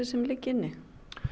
sem liggja inni